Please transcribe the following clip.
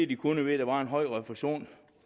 de kunnet ved at der var en høj refusion